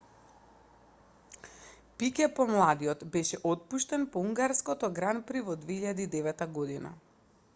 пике помладиот беше отпуштен по унгарското гран при во 2009 година